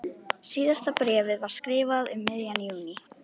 Síðasta bréfið var skrifað um miðjan júní.